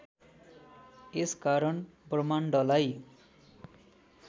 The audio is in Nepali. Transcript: यस कारण ब्रह्माण्डलाई